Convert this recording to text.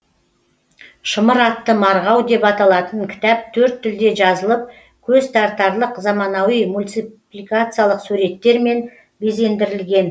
шымыр атты марғау деп аталатын кітап төрт тілде жазылып көзтартарлық заманауи мультипликациялық суреттермен безендірілген